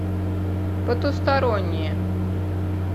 потусторонние